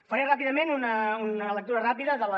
faré ràpidament una lectura ràpida de les